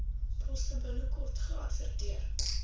poste binnekort geadverteer